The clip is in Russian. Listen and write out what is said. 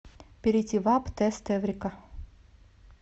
перейди в апп тест эврика